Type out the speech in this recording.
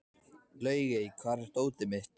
Laugey, hvar er dótið mitt?